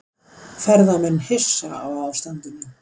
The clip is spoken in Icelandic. Ferðamenn hissa á ástandinu